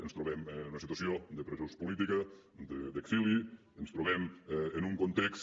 ens trobem en una situació de presos polítics d’exili ens trobem en un context